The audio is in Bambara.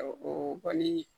O kɔni